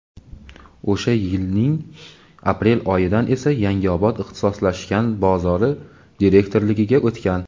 o‘sha yilning aprel oyidan esa "Yangiobod ixtisoslashgan bozori" direktorligiga o‘tgan.